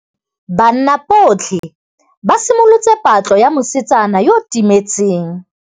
Banna botlhê ba simolotse patlô ya mosetsana yo o timetseng.